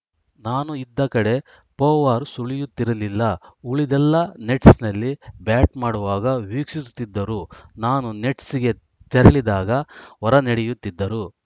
ನಾನು ಇದ್ದ ಕಡೆ ಪೊವಾರ್‌ ಸುಳಿಯುತ್ತಿರಲಿಲ್ಲ ಉಳಿದವರೆಲ್ಲಾ ನೆಟ್ಸ್‌ನಲ್ಲಿ ಬ್ಯಾಟ್‌ ಮಾಡುವಾಗ ವೀಕ್ಷಿಸುತ್ತಿದ್ದರು ನಾನು ನೆಟ್ಸ್‌ಗೆ ತೆರಳಿದಾಗ ಹೊರನಡೆಯುತ್ತಿದ್ದರು